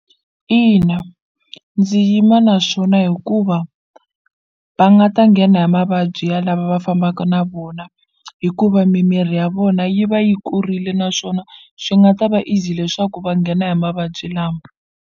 Ina ndzi yima naswona hikuva va nga ta nghena hi mavabyi ya lava va fambaka na vona hikuva mimiri ya vona yi va yi kurile naswona swi nga ta va easy leswaku va nghena hi mavabyi lama.